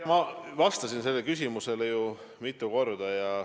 Ma vastasin sellele küsimusele ju mitu korda.